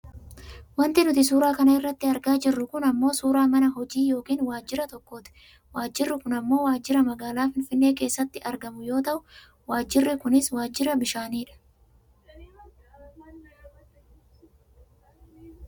Wanti nuti suuraa kana irratti argaa jirru kun ammoo suuraa mana hojii yookaan waajira tokkooti. Waajirri kun ammoo waajira magaalaa Finfinnee keessaatti argamu yoo ta'u waajirri kunis waajira bishaanii dha.